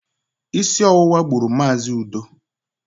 Isi ọwụwa gburu Mazi Udo